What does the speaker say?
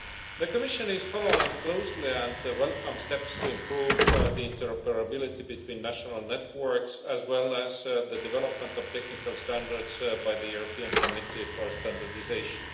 The Commission is following closely and welcomes steps to improve interoperability between national networks, as well as the development of technical standards by the European Committee for Standardisation.